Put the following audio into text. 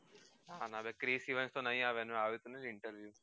નાના Chris Evans તો નહી આવે